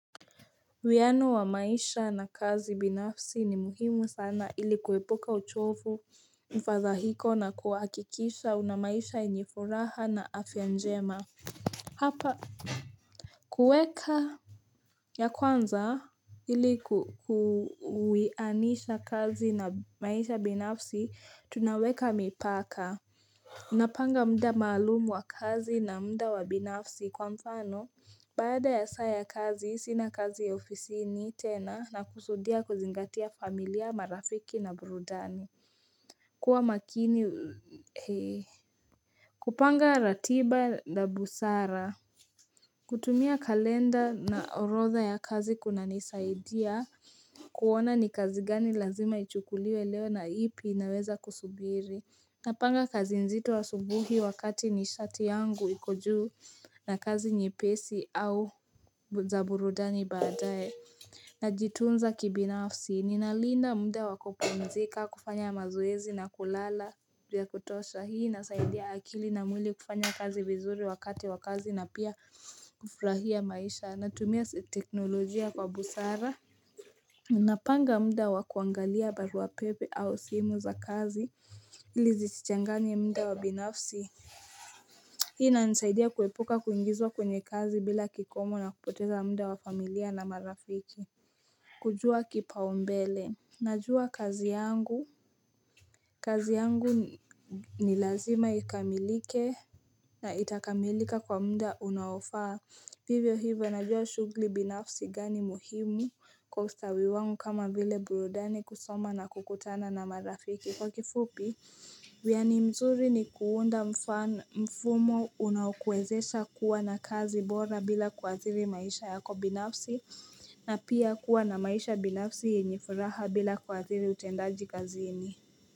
Wiano wa maisha na kazi binafsi ni muhimu sana ili kuwepuka uchofu mfadhahiko na kuakikisha una maisha enye furaha na afya njema. Hapa kueka ya kwanza ili kuwianisha kazi na maisha binafsi tunaweka mipaka. Napanga mda maalumu wa kazi na mda wabinafsi kwa mfano Bada ya saa ya kazi sina kazi ya ofisini tena nakusudia kuzingatia familia marafiki na burudani kuwa makini kupanga ratiba na busara kutumia kalenda na orotha ya kazi kunanisaidia kuwona ni kazi gani lazima ichukuliwe leo na ipi naweza kusubiri Napanga kazi nzito asubuhi wakati nishati yangu iko juu na kazi nyepesi au za burudani baadae Najitunza kibinafsi ni nalinda mda wakupunzika kufanya mazoezi na kulala ya kutosha hii inasaidia akili na mwili kufanya kazi vizuri wakati wakazi na pia kufrahia maisha natumia teknolojia kwa busara Unapanga mda wa kuangalia baruwa pepe au simu za kazi ili zisichanganye mda wabinafsi Hii inanisaidia kuwepuka kuingizwa kwenye kazi bila kikomo na kupoteza mda wafamilia na marafiki kujua kipaumbele Najua kazi yangu kazi yangu ni lazima ikamilike na itakamilika kwa mda unaofaa Vivyo hivyo najua shugli binafsi gani muhimu kwa ustawi wangu kama vile burudani kusoma na kukutana na marafiki kwa kifupi Wiani mzuri ni kuunda mfumo unao kwezesha kuwa na kazi bora bila kuwathiri maisha yako binafsi na pia kuwa na maisha binafsi yenye furaha bila kuwathiri utendaji kazini.